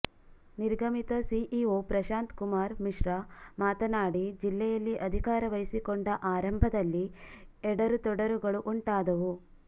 ನಿರ್ಗಮಿತ CEO Prashant Kumar Mishra ಮಾತನಾಡಿ ಜಿಲ್ಲೆಯಲ್ಲಿ ಅಧಿಕಾರ ವಹಿಸಿಕೊಂಡ ಆರಂಭದಲ್ಲಿ ಎಡರು ತೊಡರುಗಳು ಉಂಟಾದವು